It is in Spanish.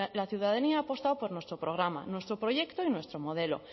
la ciudadanía ha apostado por nuestro programa nuestro proyecto y nuestro modelo